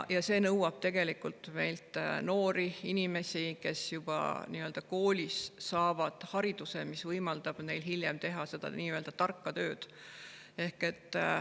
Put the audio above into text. See nõuab noori inimesi, kes juba koolis saavad hariduse, mis võimaldab neil hiljem teha seda nii-öelda tarka tööd.